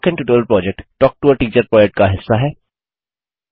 spoken tutorial project talk to a teacher project का हिस्सा है